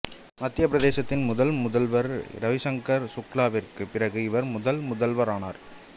மத்தியப் பிரதேசத்தின் முதல் முதல்வர் இரவிசங்கர் சுக்லாவிற்குப் பிறகு இவர் முதல்வரானார்னார்